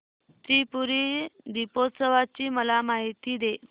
त्रिपुरी दीपोत्सवाची मला माहिती दे